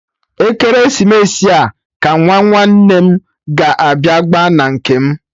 Ekeresimesi a ka Nwa nwanne m ga-abịa gba na nke m